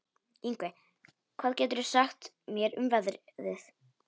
Yngvi, hvað geturðu sagt mér um veðrið?